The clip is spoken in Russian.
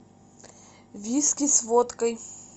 виски с водкой